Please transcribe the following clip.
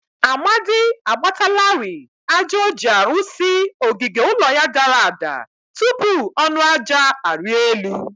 Amadi agbatalari aja o ji arụsi ogige ụlọ ya dara ada. tupu ọnụ aja arịa elu.